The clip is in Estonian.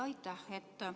Aitäh!